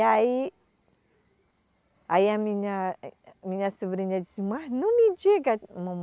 E aí, aí a minha, eh, eh, minha sobrinha disse, mas não me diga.